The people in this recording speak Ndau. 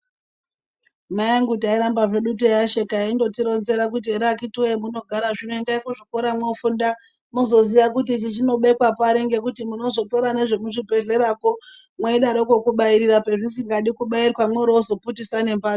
Mai angu tairamba hedu teiasheka eindoti ronzera kuti ere akiti woye hemunogara zvino endai kuzvikora mwofunda muzoziya kuti ichi chinobekwa pari ngekuti munozotora nezveku zvibhadhlera kwo mweidaroko kubairira pazvisingadi kubairirwa mworo ozo putisa nembatso.